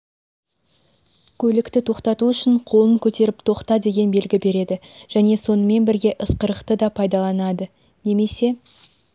көлікті тоқтату үшін қолын көтеріп тоқта деген белгі береді және сонымен бірге ысқырықты да пайдаланады немесе